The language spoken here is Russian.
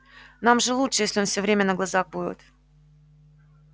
нам же лучше если он всё время на глазах будет